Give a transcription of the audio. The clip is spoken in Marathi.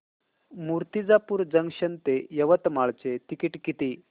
मूर्तिजापूर जंक्शन ते यवतमाळ चे तिकीट किती